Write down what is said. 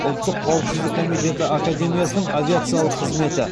ұлттық қауіпсіздік комитеті академиясының авиациялық қызметі